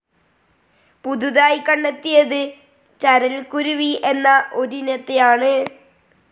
പുതുതായി കണ്ടെത്തിയത് ചരൽക്കുരുവി എന്ന ഒരിനത്തെയാണ്.